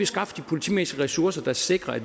skaffe de politimæssige ressourcer der sikrer